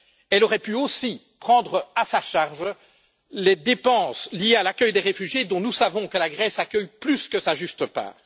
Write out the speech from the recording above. Elle aurait pu aussi prendre à sa charge les dépenses liées à l'accueil des réfugiés, dont nous savons que la Grèce accueille plus que sa juste part.